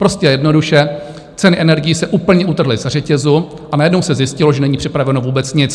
Prostě a jednoduše ceny energií se úplně utrhly ze řetězu a najednou se zjistilo, že není připraveno vůbec nic.